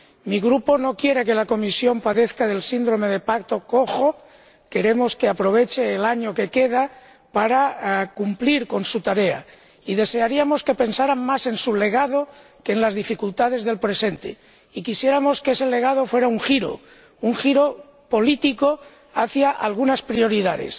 Mi Grupo no quiere que la Comisión padezca del síndrome del pacto cojo queremos que aproveche el año que queda para cumplir con su tarea y desearíamos que pensara más en su legado que en las dificultades del presente, y quisiéramos que ese legado fuera un giro, un giro político hacia algunas prioridades.